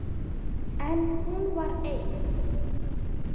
En hún var ein.